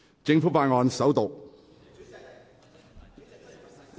政府法案：首讀。